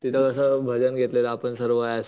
तिथं असं भजन घेतलेलं आपण सर्व